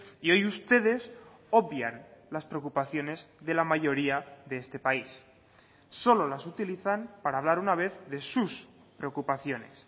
y hoy ustedes obvian las preocupaciones de la mayoría de este país solo las utilizan para hablar una vez de sus preocupaciones